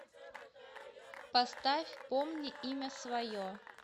поставь помни имя свое